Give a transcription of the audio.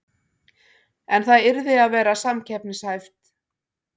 En það yrði að vera samkeppnishæft